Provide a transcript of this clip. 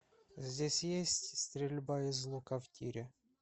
здесь есть стрельба из лука в тире